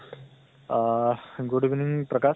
আহ good evening প্ৰকাশ